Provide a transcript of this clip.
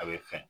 A bɛ fɛn